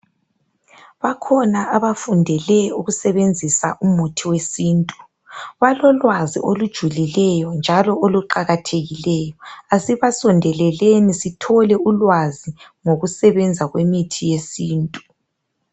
Bakhona abafundele ukusebenzisa umithi wesintu. Balolwazi olujulikeyo, njalo oluqakathekileyo. Kasibasondeleleni, sithole ulwazi ngokusebenza kwemithi yesintu.